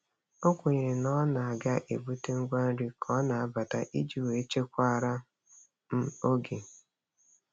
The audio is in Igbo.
O kwenyere na ọ na ọ ga-ebute ngwa nri ka ọ na-abata iji wee chekwaara m oge.